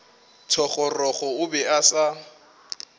thogorogo o be a sa